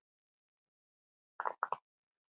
Það greip mikil angist.